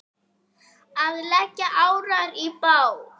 Að leggja árar í bát?